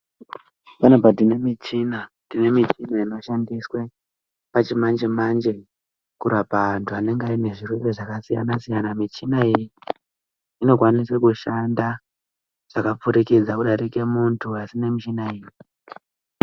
Panapa tinemuchina inoshandiswe pachimanje manje kurapa antu anange anezvirwere zvakasiyana siyana muchina iyi inodhanda zvakapfurikidza muntu asi nemuchina iyi